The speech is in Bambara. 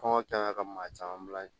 Kɔngɔ kɛra ka ma caman bila yen